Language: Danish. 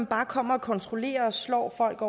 bare at komme og kontrollere og slå folk